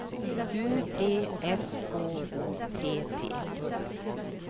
U T S K O T T